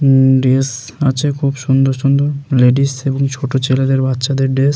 উমম dress আছে খুব সুন্দর সুন্দর লেডিস এবং ছোট ছেলেদের বাচ্চাদের ড্রেস ।